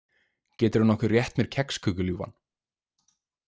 Geturðu nokkuð rétt mér kexköku, ljúfan?